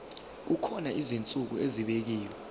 kukhona izinsuku ezibekiwe